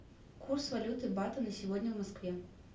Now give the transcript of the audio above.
курс валюты бата на сегодня в москве